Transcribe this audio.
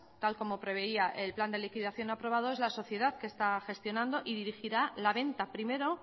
tal como preveía el plan de liquidación aprobado es la sociedad que está gestionando y dirigirá la venta primero